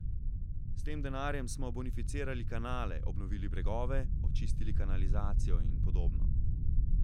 S tem denarjem smo bonificirali kanale, obnovili bregove, očistili kanalizacijo in podobno.